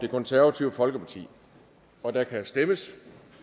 og der kan stemmes